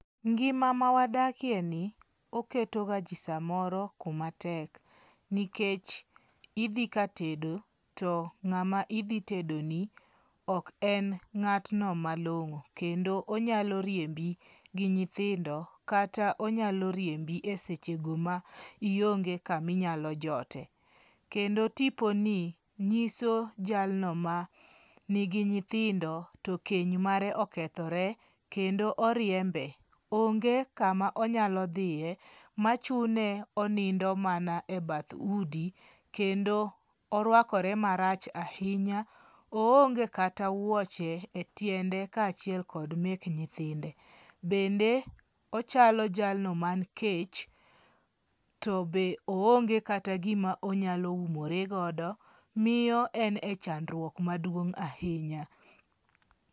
Ngima mawadakie ni oketo ga ji samoro kuma tek Nikech idhi ka tedo to ng'ama idhi tedoni ok en ng'atno malong'o kendo onyalo riembi gi nyithindo kata onyalo riembi e seche go ma ionge kama inyalo jotie. Kendo tipo ni nyiso jalno ma nigi nyithindo to keny mare okethore kendo oriembe. Onge kama onyalo dhiye machune onindo mana e bath udi. Kendo orwakore matrach ahinya. O onge kata wuoche e tiende ka achiel kod mek nyithinde. Bende ochalo jalno man kech to be o onge kata gima onyalo umoregodo. Miyo en e chandruok maduong' ahinya.